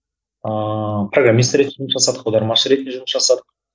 ыыы программист ретінде жұмыс жасадық аудармашы ретінде жұмыс жасадық